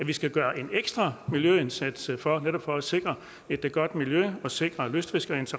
vi skal gøre en ekstra miljøindsats for netop for at sikre et godt miljø og sikre lystfiskernes